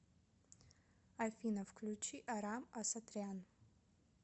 афина включи арам асатрян